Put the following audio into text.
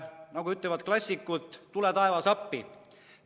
Nagu ütlevad klassikud: "Tule taevas appi!